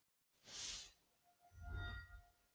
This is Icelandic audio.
Maðurinn var gjörsamlega náttúrulaus þá stundina.